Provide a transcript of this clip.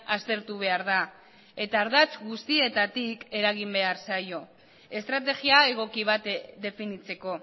aztertu behar da eta ardatz guztietatik eragin behar zaio estrategia egoki bat definitzeko